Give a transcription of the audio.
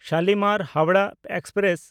Shalimar (Howrah) express